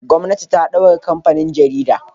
Gwamnati ta daure kamfanin jaridar